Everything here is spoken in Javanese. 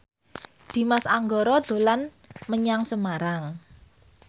Dimas Anggara dolan menyang Semarang